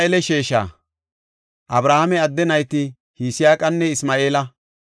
Abrahaame adde nayti Yisaaqanne Isma7eela.